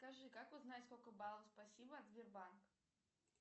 скажи как узнать сколько баллов спасибо от сбербанка